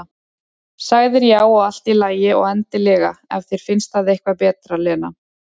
Sagðir já, og allt í lagi, og endilega, ef þér finnst það eitthvað betra, Lena.